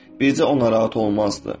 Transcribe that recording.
Bircə o narahat olmazdı.